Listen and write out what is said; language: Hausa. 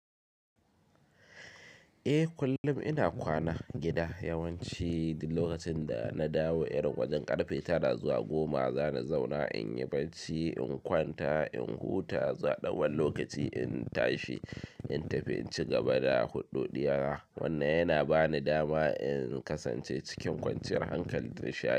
Eh kullum ina kwana gida yawanci dik lokacin da na dawo irin wajen karfe tara zuwa goma za na zauna in yi barci, in kwanta, in huta, zuwa ɗan wani lokaci in tashi, in tafi in ci gaba da huɗu ɗiya. Wannan yana ba ni dama in kasance cikin kwanciyar hankal da nishaɗi.